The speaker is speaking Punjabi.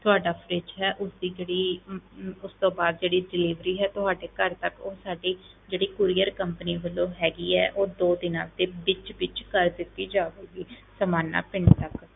ਤੁਹਾਡਾ fridge ਹੈ ਉਸਦੀ ਜਿਹੜੀ ਅਮ ਅਮ ਉਸ ਤੋਂ ਬਾਅਦ ਜਿਹੜੀ delivery ਹੈ, ਤੁਹਾਡੇ ਘਰ ਤੱਕ ਉਹ ਸਾਡੀ ਜਿਹੜੀ courier company ਵੱਲੋਂ ਹੈਗੀ ਹੈ ਉਹ ਦੋ ਦਿਨਾਂ ਦੇ ਵਿੱਚ ਵਿੱਚ ਕਰ ਦਿੱਤੀ ਜਾਵੇਗੀ ਸਮਾਣਾ ਪਿੰਡ ਤੱਕ